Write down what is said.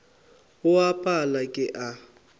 go a pala ke a